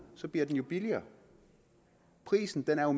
så bliver den jo billigere prisen er